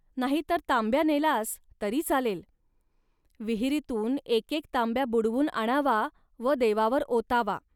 नाही तर तांब्या नेलास, तरी चालेल. विहिरीतून एकेक तांब्या बुडवून आणावा व देवावर ओतावा